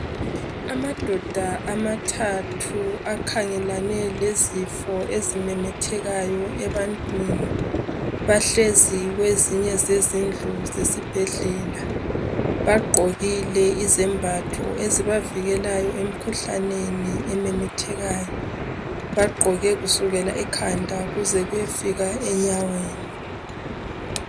Amadoda amathathu akhangelane lezifo ezimemethekayo ebantwini. Bahlezi kwezinye zezindlu zesibhedlela. Bagqokile izembatho ezibavikelayo emkhuhlaneni ememethekayo. Bagqoke kusukela ekhanda kuze kuyefika enyaweni.